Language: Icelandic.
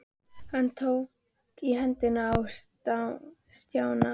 Hann tók í hendina á Stjána.